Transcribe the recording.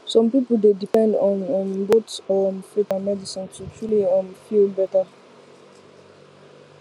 some people dey depend on um both um faith and medicine to truly um feel better